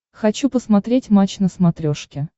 хочу посмотреть матч на смотрешке